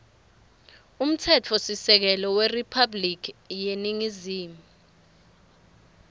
umtsetfosisekelo weriphabhulikhi yeningizimu